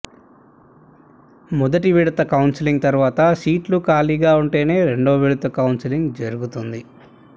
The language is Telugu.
మొదటి విడత కౌన్సెలింగ్ తర్వాత సీట్లు ఖాళీగా ఉంటేనే రెండో విడత కౌన్సెలింగ్ జరుగుతుంది